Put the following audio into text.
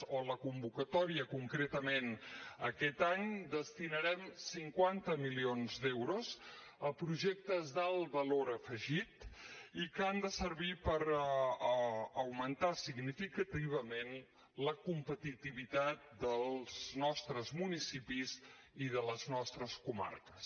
en la convocatòria concretament aquest any destinarem cinquanta milions d’euros a projectes d’alt valor afegit i que han de servir per augmentar significativament la competitivitat dels nostres municipis i de les nostres comarques